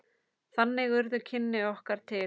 Þannig urðu kynni okkar til.